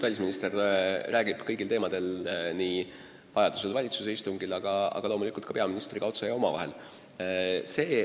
Välisminister räägib vajadusel kõigil teemadel nii valitsuse istungil kui ka loomulikult peaministriga otse ja omavahel.